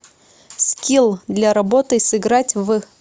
скилл для работы сыграть в